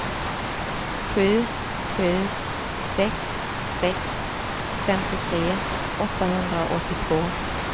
sju sju sex sex femtiotre åttahundraåttiotvå